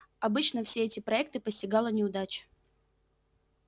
обычно все эти проекты постигала неудача